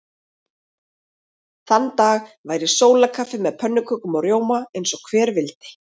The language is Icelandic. Þann dag væri sólarkaffi með pönnukökum og rjóma eins og hver vildi.